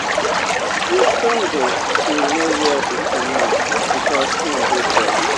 gitogo bin no hear di command becos im dey deaf